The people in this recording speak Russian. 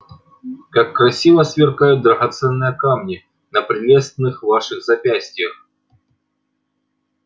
как красиво сверкают драгоценные камни на прелестных ваших запястьях